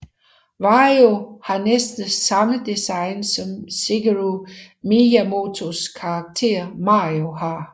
Wario har næsten samme design som Shigeru Miyamotos karakter Mario har